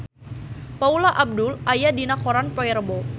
Paula Abdul aya dina koran poe Rebo